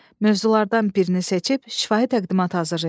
Mövzulardan birini seçib şifahi təqdimat hazırlayın.